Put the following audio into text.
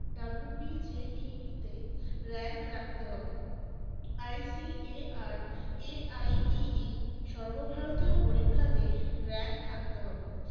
WBJEE তে rank রাখতে হবে ICARAIEE সরবভাগিয় পরিক্ষাতে rank থাকতে হবে